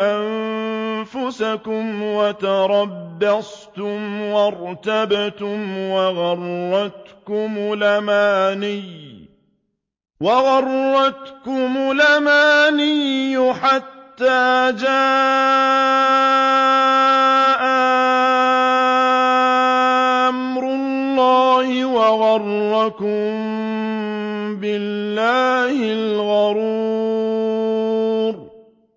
أَنفُسَكُمْ وَتَرَبَّصْتُمْ وَارْتَبْتُمْ وَغَرَّتْكُمُ الْأَمَانِيُّ حَتَّىٰ جَاءَ أَمْرُ اللَّهِ وَغَرَّكُم بِاللَّهِ الْغَرُورُ